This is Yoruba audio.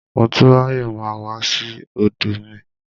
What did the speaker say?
Motúnráyọ̀ máa wá sí ọ̀dọ̀ mi.